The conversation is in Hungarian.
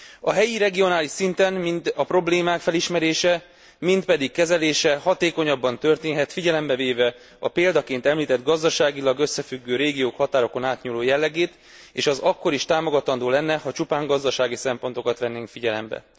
A helyi, regionális szinten mind a problémák felismerése, mind pedig kezelése hatékonyabban történhet, figyelembe véve a példaként említett gazdaságilag összefüggő régiók határokon átnyúló jellegét, és az akkor is támogatandó lenne, ha csupán gazdasági szempontokat vennénk figyelembe.